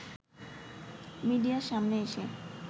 মিডিয়ার সামনে এসে